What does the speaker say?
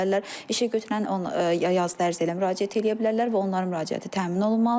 İşəgötürən yazı dərsi ilə müraciət eləyə bilərlər və onların müraciəti təmin olunmalıdır.